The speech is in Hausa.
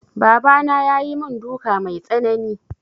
Baba na ya yi mun duka mai tsanani